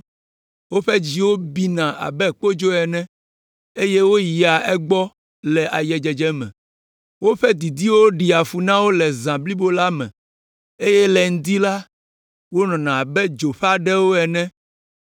Woƒe dziwo bina abe kpodzo ene, eye woyia egbɔ le ayedzedze me. Woƒe didiwo ɖea fu na wo le zã blibo la me eye le ŋdi la, wonɔna abe dzo ƒe aɖewo ene.